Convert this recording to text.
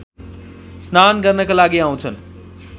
स्नान गर्नका लागि आउँछन्